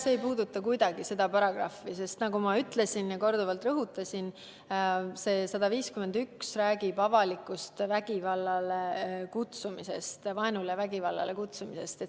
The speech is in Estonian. See ei puuduta kuidagi seda paragrahvi, sest nagu ma ütlesin ja korduvalt rõhutasin, räägib § 151 avalikust vaenule ja vägivallale kutsumisest.